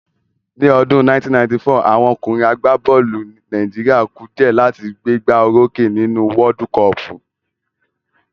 Ní ọdún 1994, àwọn ọkùnrin àgbá bọ́ọ̀lù Nàìjíríà ku dìẹ́ láti gbé gbá o rókè nínú wọ́ọ́dú kọọ̀pù